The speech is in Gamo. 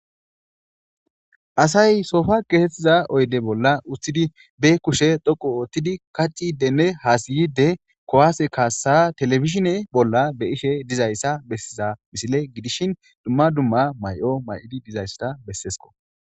Asay soofa geetettiza oyde bolla uttidi be kushe dhoqu oothtidi kacidenne haasiyide kowaase kaassa telefishine bolla be ishe dizayssa bessiza misile gidishin dumma dumma may7o may7odi dizayssata bessesko.